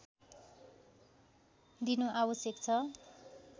दिनु आवश्यक छ